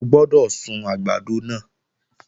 O gbọ́dọ̀ sun àgbàdo náà!